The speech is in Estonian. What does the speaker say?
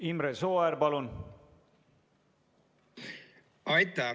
Imre Sooäär, palun!